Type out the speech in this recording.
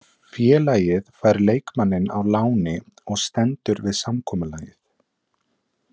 Félagið fær leikmanninn á láni og stendur við samkomulagið.